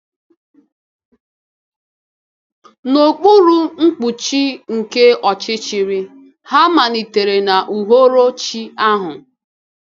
N’okpuru mkpuchi nke ọchịchịrị, ha malitere n’uhuruchi ahụ.